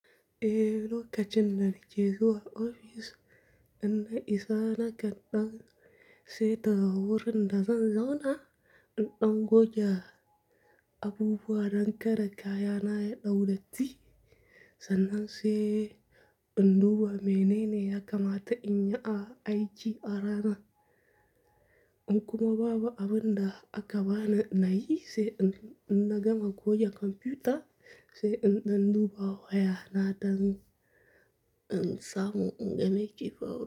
Eh, lokacin da na je zuwa ofis, inda isa na ga ɗan sai ta wurin da zan zauna, in ɗan goge abubuwa don kare kayana ya dau datti. Sannan sai in duba menene ya kamata in yi a aiki a ranan. In kuma babu abin da aka bani na yi, sai in, in na gama goge kwamfuta, sai in ɗan duba wayana don in samu in game ke fawo.